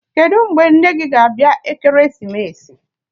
Kedụ mgbe nne nne gị ga-abịa Ekeresimesi?